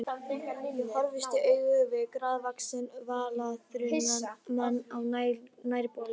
Ég horfist í augu við grannvaxinn, varaþunnan mann á nærbol.